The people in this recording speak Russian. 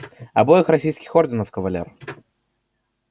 обоих российских орденов кавалер